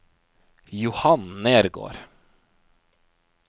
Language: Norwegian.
Johan Nergård